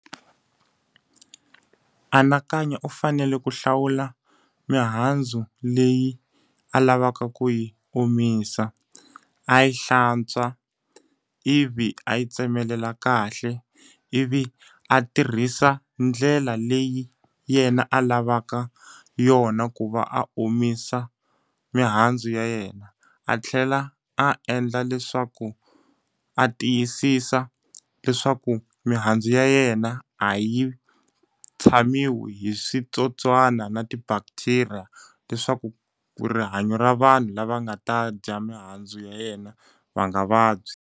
Anakanya u fanele ku hlawula mihandzu leyi a lavaka ku yi omisa, a yi hlantswa, ivi a yi tsemelela kahle, ivi a tirhisa ndlela leyi yena a lavaka yona ku va a omisa mihandzu ya yena. A tlhela a endla leswaku a tiyisisa leswaku mihandzu ya yena a yi tshamiwi hi switsotswana na ti-bacteria, leswaku ku rihanyo ra vanhu lava nga ta dya mihandzu ya yena va nga vabyi.